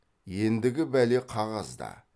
ендігі бәле қағазда